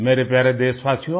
मेरे प्यारे देशवासियो